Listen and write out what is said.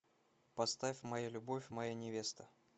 поставь моя любовь моя невеста